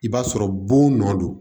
I b'a sɔrɔ bon